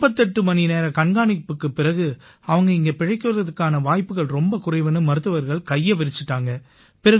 48 மணி நேர கண்காணிப்புக்குப் பிறகு அவங்க இங்க பிழைக்கறதுக்கான வாய்ப்புகள் ரொம்ப குறைவுன்னு மருத்துவர்கள் கையை விரிச்சுட்டாங்க